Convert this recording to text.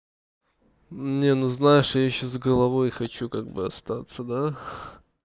не ну знаешь я ещё с головой хочу как бы остаться да